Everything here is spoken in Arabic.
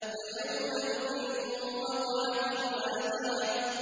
فَيَوْمَئِذٍ وَقَعَتِ الْوَاقِعَةُ